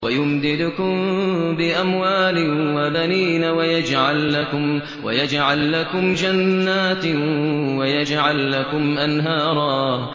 وَيُمْدِدْكُم بِأَمْوَالٍ وَبَنِينَ وَيَجْعَل لَّكُمْ جَنَّاتٍ وَيَجْعَل لَّكُمْ أَنْهَارًا